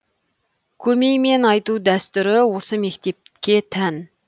көмеймен айту дәстүрі осы мектепке тән